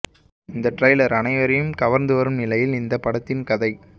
இந்த ட்ரைலர் அனைவரையும் கவர்ந்து வரும் நிலையில் இந்த படத்தின் கதை